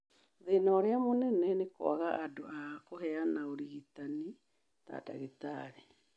Thĩna ũmwe mũnene nĩ kwaga andũ a kũheana ũrigitani, ta ndagĩtarĩ.